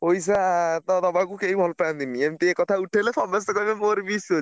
ପଇସା ତ ଦବାକୁ କେହି ଭଲ ପାଆନ୍ତିନି| ଏମତି ଏ କଥା ଉଠେଇଲେ ସମସ୍ତେ କହିବେ ମୋର ବି issue ଅଛି।